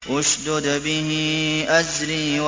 اشْدُدْ بِهِ أَزْرِي